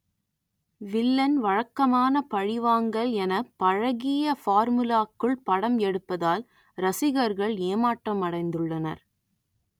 villain வழக்கமான பழிவாங்கல் என பழகிய பார்முலாக்குள் படம் எடுப்பதால் ரசிகர்கள் ஏமாற்றமடைந்துள்ளனர்